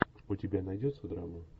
у тебя найдется драма